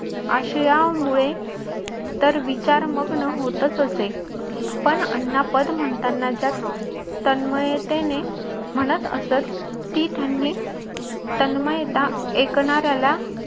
अशी यामुळे तर विचार मग्न होत असे. पण अण्णा पद म्हणताना ज्या तन्मयतेने म्हणत असत ती त्यांनी तनमय त्या ऐकणार्‍याला